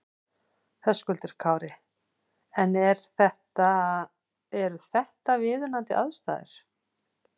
Höskuldur Kári: En er þetta, eru þetta viðunandi aðstæður?